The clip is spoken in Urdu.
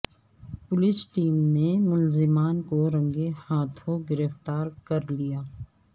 پولیس ٹیم نے ملزمان کو رنگے ہاتھوں گرفتا رکر لیا